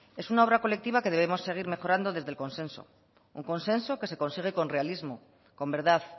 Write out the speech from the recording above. es una obra colectiva que debemos seguir mejorando desde el consenso un consenso que se consigue con realismo con verdad